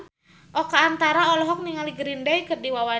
Oka Antara olohok ningali Green Day keur diwawancara